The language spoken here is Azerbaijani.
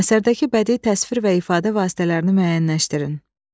Əsərdəki bədii təsvir və ifadə vasitələrini müəyyənləşdirin.